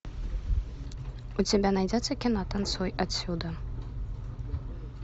у тебя найдется кино танцуй отсюда